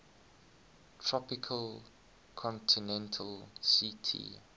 tropical continental ct